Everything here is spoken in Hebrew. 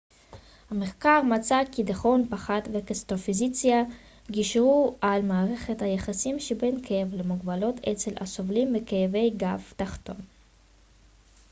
המחקר מצא כי דיכאון פחד וקטסטרופיזציה גישרו על מערכת היחסים שבין כאב למוגבלות אצל הסובלים מכאבי גב תחתון